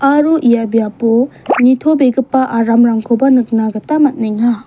aro ia biapo nitobegipa aramrangkoba nikna gita man·enga.